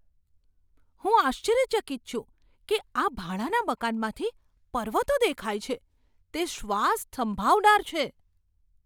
હું આશ્ચર્યચકિત છું કે આ ભાડાના મકાનમાંથી પર્વતો દેખાય છે. તે શ્વાસ થંભાવનાર છે!